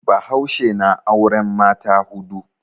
Bahaushe na auren mata hudu.